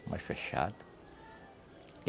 É mais fechado.